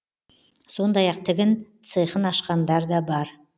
сондай ақ тігін цехын ашқандар да бар